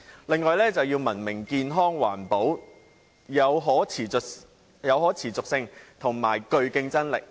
另外，便是要文明、健康、環保、具可持續性和競爭力。